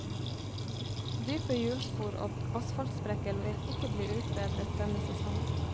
Dype hjulspor og asfaltsprekker vil ikke bli utbedret denne sesongen.